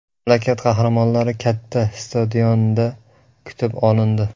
Mamlakat qahramonlari katta stadionda kutib olindi.